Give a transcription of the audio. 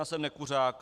Já jsem nekuřák.